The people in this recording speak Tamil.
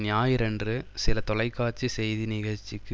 ஞாயிறன்று சில தொலை காட்சி செய்தி நிகழ்ச்சிக்கு